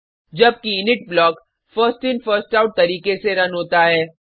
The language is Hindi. जबकि init block first in first out तरीके से रन होता है